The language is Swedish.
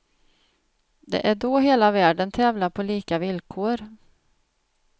Det är då hela världen tävlar på lika villkor.